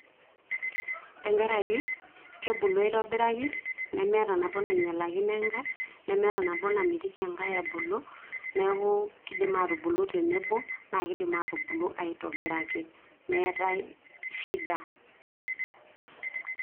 tenkaraki kebulu aitobiraki, nemeeta nabo naing'ialakino enkae, nemeeta nabo namitiki enkae ebulu. neeku kidim aatubulu tenebo, naa kidim atubulu aitobiraki meetae shida.